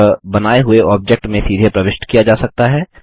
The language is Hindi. यह बनाए हुए ऑब्जेक्ट में सीधे प्रविष्ट किया जा सकता है